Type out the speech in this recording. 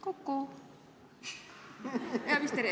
Kuku!